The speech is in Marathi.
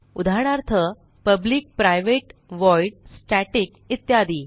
उदाहरणार्थpublic प्रायव्हेट व्हॉइड स्टॅटिक इत्यादी